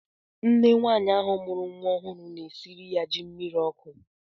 Nne nwaanyị ahụ mụrụ nwa ọhụrụ ọ na-esiri ya ji mmiri ọkụ?